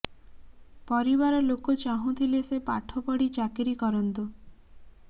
ପରିବାର ଲୋକ ଚାହୁଁଥିଲେ ସେ ପାଠ ପଢ଼ି ଚାକିରି କରନ୍ତୁ